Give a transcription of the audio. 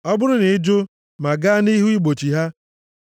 Ọ bụrụ na ị jụ, ma gaa nʼihu igbochi ha,